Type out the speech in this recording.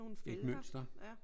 Et mønster